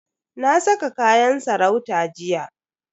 Na saka kayan sarauta jiya.